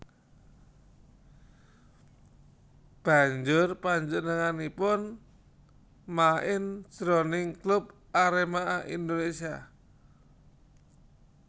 Banjur panjenenganipun main jroning klub Arema Indonésia